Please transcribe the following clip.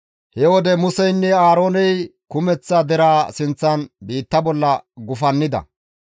He wode Museynne Aarooney kumeththa deraa sinththan biitta bolla gufannida.